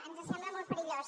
ens sembla molt perillós